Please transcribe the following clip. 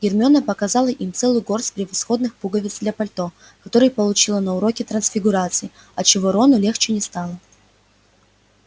гермиона показала им целую горсть превосходных пуговиц для пальто которые получила на уроке трансфигурации отчего рону легче не стало